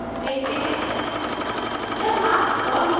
अब gedit में code देखते हैं